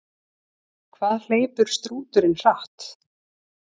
Hvað hleypur strúturinn hratt?